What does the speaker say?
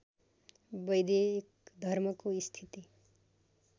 वैदिक धर्मको स्थिति